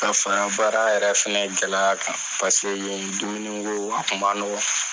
Ka fara baara yɛrɛ fɛnɛ gɛlɛya kan, paseke ye dumunigo a kun ma nɔgɔ.